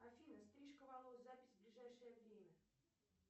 афина стрижка волос запись ближайшее время